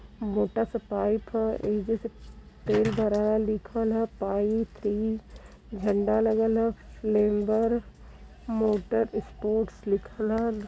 मोटा सा पाइप ह। एजे से तेल भराला लिखल ह पाइप झंडा लगल ह। मोटर ईस्पोर्ट्स लिखल ह।